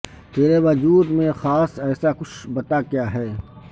ترے وجود میں خاص ایسا کچھ بتا کیا ہے